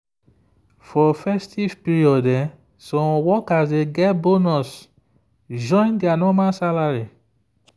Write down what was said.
for festive period some workers dey get bonus join their normal salary.